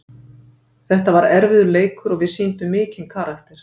Þetta var erfiður leikur og við sýndum mikinn karakter.